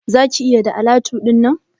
Za ka iya da alatu dinnan?